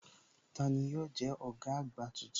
Tani yóò jẹ́ ọ̀gá àgbà tuntun?